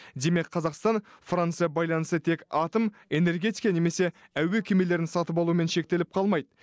демек қазақстан франция байланысы тек атом энергетика немесе әуе кемелерін сатып алумен шектеліп қалмайды